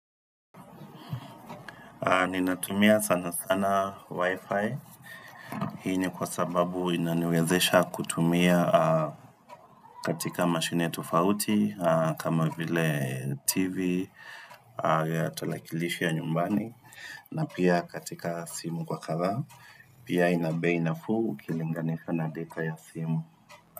Ninatumia sana sana wifi, hii kwa sababu inaniwezesha kutumia katika mashine tofauti kama vile tv, tarakilishi ya nyumbani na pia katika simu kwa kadhaa, pia inabei nafuu ukilinganika na deta ya simu.